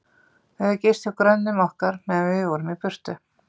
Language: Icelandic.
Þau höfðu gist hjá grönnum okkar, meðan við vorum í burtu.